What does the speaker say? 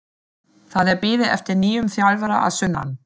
Það er beðið eftir nýjum þjálfara að sunnan.